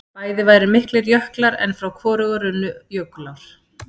bæði væru miklir jöklar en frá hvorugu runnu jökulár